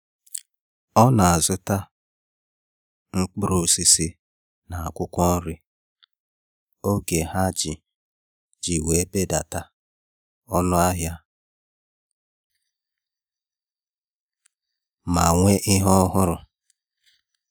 Ọ na-azụta mkpụrụ osisi na akwụkwọ nri n’oge ha iji iji belata ọnụ ahịa ma nwee ihe ọhụrụ.